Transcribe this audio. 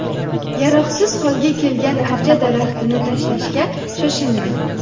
Yaroqsiz holga kelgan archa daraxtini tashlashga shoshilmang.